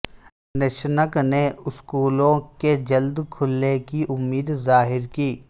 نشنک نے اسکولوں کے جلد کھلنے کی امید ظاہر کی